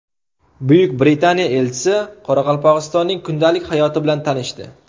Buyuk Britaniya elchisi Qoraqalpog‘istonning kundalik hayoti bilan tanishdi.